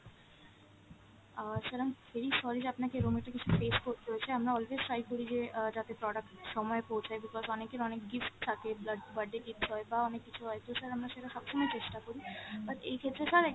Ah sir i am very sorry যে আপনাকে এরম একটা কিছু face করতে হয়েছে, আমরা always try করি যে আহ যাতে product সময়ে পৌঁছায় because অনেকের অনেক gift থাকে, বাট~ birthday gift হয় বা অনেক কিছু হয় তো sir আমরা সেটা সবসময় চেষ্টা করি। but এই ক্ষেত্রে sir